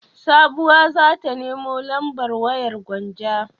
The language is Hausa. Sabuwa za ta nemo lambar wayar Gwanja.